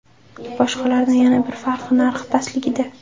Boshqalardan yana bir farqi narxi pastligida.